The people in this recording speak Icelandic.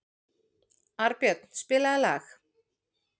Arnbjörn, spilaðu lag.